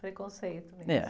Preconceito mesmo..